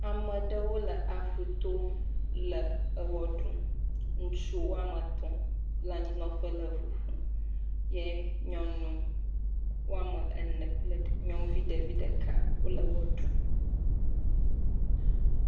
Ame ɖewo le aƒu to le ewɔ ɖum ŋutsu woame etɔ̃ wole eŋu ƒom, ye nyɔnu woame ene kple nyɔnuvi ɖeka wole wɔ ɖum.